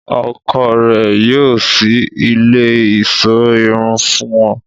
Ọ́kọ rẹ yóò ṣii ile iṣọ irun fun ù